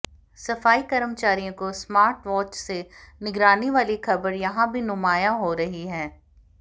सफाई कर्मचारियों को स्मार्ट वॉच से निगरानी वाली खबर यहां भी नुमायां हो रही है